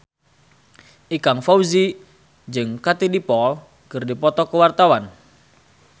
Ikang Fawzi jeung Katie Dippold keur dipoto ku wartawan